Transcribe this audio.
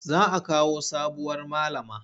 Za a kawo sabuwar malama.